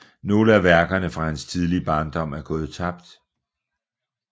Nogle af værkerne fra hans tidlige barndom er gået tabt